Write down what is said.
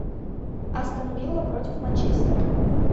астон вилла против манчестера